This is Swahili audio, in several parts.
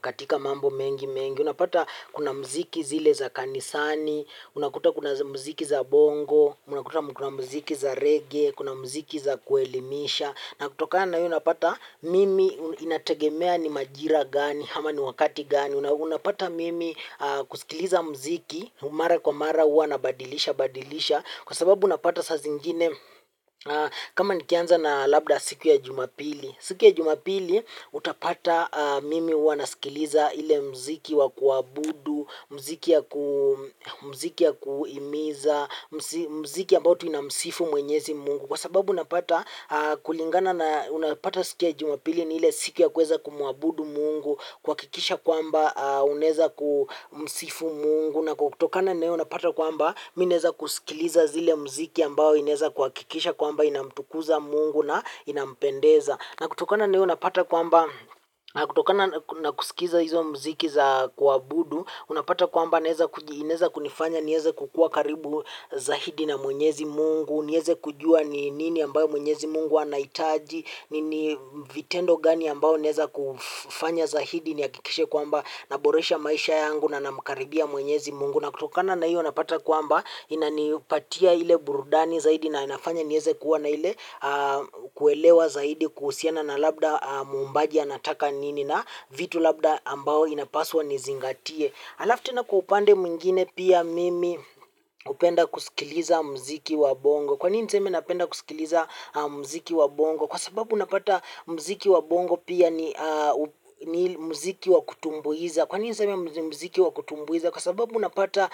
katika mambo mengi mengi. Unapata kuna muziki zile za kanisani, unakuta kuna muziki za bongo, unakuta kuna muziki za reggae, kuna muziki za kuelimisha. Na kutokana hio unapata mimi inategemea ni majira gani, ama ni wakati gani, unapata mimi kusikiliza muziki, mara wa mara huwa nabadilisha badilisha, kwa sababu unapata saa zingine kama nikianza na labda siku ya jumapili. Siku ya jumapili utapata mimi hua nasikiliza ile muziki wa kuabudu, muziki ya kuhimiza, muziki ambao tu inamsifu mwenyezi. Mungu. Kwa sababu napata kulingana na unapata siku ya jumapili ni ile siku ya kuweza kumuabudu mungu, kuhakikisha kwamba unaeza kumsifu mungu. Na kutokana na hio unapata kwamba mi naeza kusikiliza zile muziki ambao inaeza kuhaikisha kwamba inamtukuza mungu na inampendeza na kutokana na hiyo napata kwamba na kutokana na kusikiza hizo muziki za kuabudu unapata kwamba inaeza kunifanya nieze kukua karibu zaidi na mwenyezi mungu nieze kujua ni nini ambayo mwenyezi mungu anahitaji vitendo gani ambao naeza kufanya zaidi nihakikishe kwamba naboresha maisha yangu na namkaribia mwenyezi mungu. Na kutokana na hiyo napata kuamba inanipatia ile burudani zaidi na inafanya nieze kuwa na ile kuelewa zaidi kuhusiana na labda muombaji anataka nini na vitu labda ambao inapaswa nizingatie. Alafu ten kwa upande mwingine pia mimi hupenda kusikiliza muziki wa bongo. Kwanini niseme napenda kusikiliza muziki wa bongo. Kwa sababu unapata muziki wa bongo pia ni muziki wa kutumbuiza kwa nini ninseme ni muziki wa kutumbuiza. Kwa sababu unapata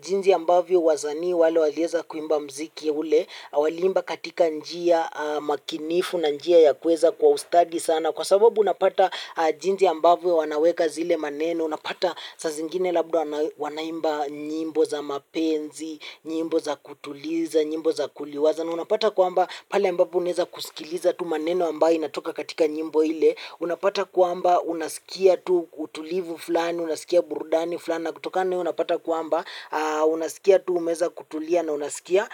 jinsi ambavyo wasanii wale walieza kuimba muziki ule. Walimba katika njia makinifu na njia ya kuweza kwa ustadi sana. Kwa sababu unapata jinsi ambavyo wanaweka zile maneno. Unapata saa zingine labda wanaimba nyimbo za mapenzi, nyimbo za kutuliza, nyimbo za kuliwaza na unapata kwamba pale ambapo uneza kusikiliza tu maneno ambayo inatoka katika nyimbo ile unapata kwamba unasikia tu utulivu fulani, unasikia burudani fulani na kutokana na hio unapata kwamba unasikia tu umeweza kutulia na unasikia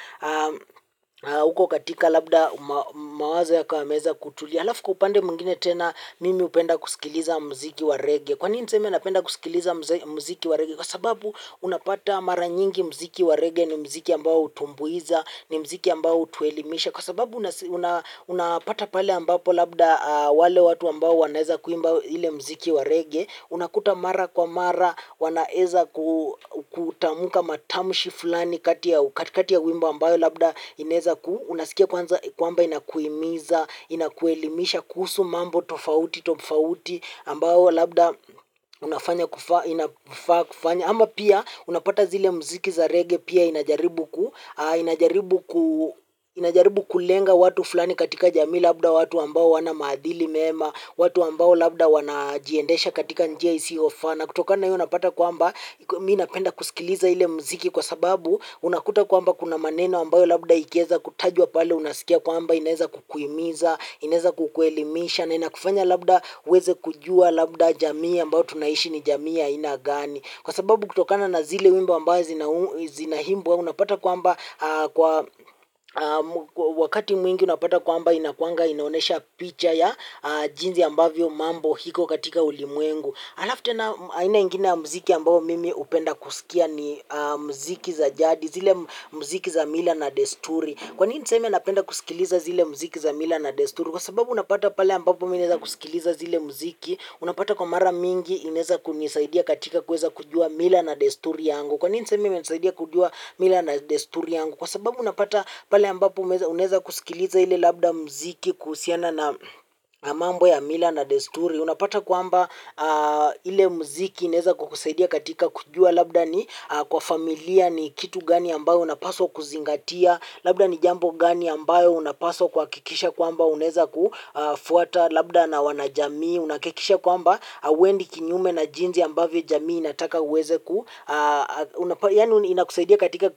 huko katika labda mawazo yako yameweza kutulia alafu kwa upande mwingine tena mimi hupenda kusikiliza muziki wa rege kwanini niseme napenda kusikiliza muziki wa rege kwa sababu unapata mara nyingi muziki wa rege ni muziki ambao hutumbuiza ni muziki ambao hutuelimisha kwa sababu uns unapata pale ambapo labda wale watu ambao wanaeza kuimba ile muziki wa rege unakuta mara kwa mara wanaeza ku kutamuka matamshi fulani katikati ya wimbo ambayo labda inaeza ku unasikia kwamba inakuhimiza, inakuelimisha, kuhusu mambo, tofauti tofauti ambao labda inafaa kufanywa. Ama pia unapata zile muziki za reggae pia inajaribu kulenga watu fulani katika jamii labda watu ambao hawana maadili mema, watu ambao labda wanajiendesha katika njia isiyo faa. Kutokana hio unapata kwamba mimi napenda kusikiliza ile muziki kwa sababu unakuta kwamba kuna maneno ambayo labda ikieza kutajwa pale unasikia kwamba ineza kukuhimiza, inaeza kukuelimisha na inakufanya labda uweze kujua, labda jamii ambayo tunaishi ni jamii ya aina gani. Kwa sababu kutokana na zile wimbo ambayo zina zinaimbwa unapata kwamba wakati mwingi unapata kwamba inakuanga inaonyesha picha ya jinsi ambavyo mambo iko katika ulimwengu. Alafu tena aina ingine muziki ambayo mimi hupenda kusikia ni muziki za jadi zile miziki za mila na desturi. Kwa nini niseme nanapenda kusikiliza zile muziki za mila na desturi. Kwa sababu unapata pale ambapo naweza kusikiliza zile muziki, unapata kwa mara mingi inaeza kunisaidia katika kuweza kujua mila na desturi yangu. Kwa nini nseme imenesaidia kujua mila na desturi yangu? Kwa sababu unapata pale ambapo unaeza kusikiliza ile labda muziki kuhusiana na mambo ya mila na desturi. Unapata kwamba ile muziki ineza kukusaidia katika kujua labda ni kwa familia ni kitu gani ambayo unapaswa kuziangatia, labda ni jambo gani ambayo unapaswa kuhakikisha kwamba uneza kufuata. Labda na wanajamii unahakikisha kwamba hauendi kinyume na jinsi ambavyo jamii inataka uweze ku yaani inakusaidia katika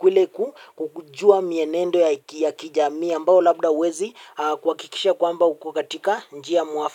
kujua mienendo ya kijamii ambayo labda huwezi kuhakikisha kwamba uko katika njia mwafaka.